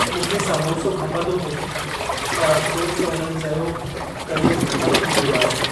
मूंखे संबोसो खपंदो हो पर अफसोस त उन्हनि चयो त इहो ख़तम थी वियो आहे।